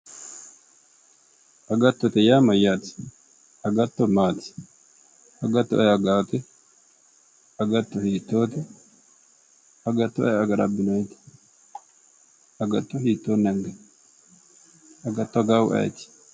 Agattote yaa mayyaate? agatto maati? agatto ayi agaate? agatto hiittoote? agatto ayi agara abbinoyiite? agatto hiittoonni anganni? agatti agaahu ayeeti?